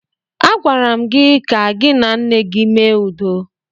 Agwara m gị ka gị na nne gị mee udo!